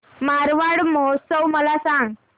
मारवाड महोत्सव मला सांग